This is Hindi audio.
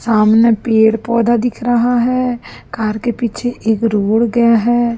सामने पेड़ पौधा दिख रहा है कार के पीछे एक रोड गया है।